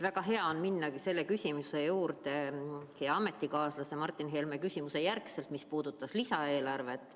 Väga hea on minna selle küsimuse juurde pärast hea ametikaaslase Martin Helme küsimust, mis puudutas lisaeelarvet.